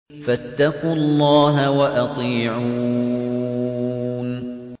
فَاتَّقُوا اللَّهَ وَأَطِيعُونِ